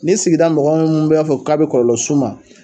Ni sigida mɔgɔ m bɛ a fɛ k'a bɛ kɔlɔlɔ s'u ma